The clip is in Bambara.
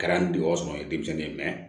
Kɛra n degɔ sɔrɔ ye denmisɛnnin ye